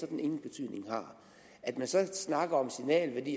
den ingen betydning har at man så snakker om signalværdi